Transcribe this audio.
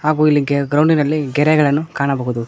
ಹಾಗು ಇಲ್ಲಿ ಗೆ ಗ್ರೌಂಡಿನಲ್ಲಿ ಗೆರೆಗಳನ್ನು ಕಾಣಬಹುದು.